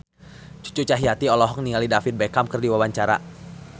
Cucu Cahyati olohok ningali David Beckham keur diwawancara